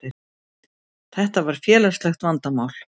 Þetta var félagslegt vandamál.